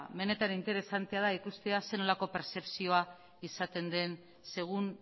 benetan interesantea da ikustea zer nolako pertzepzioa izaten den segun